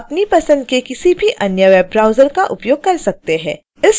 आप अपनी पसंद के किसी भी अन्य वेब ब्राउज़र का उपयोग कर सकते हैं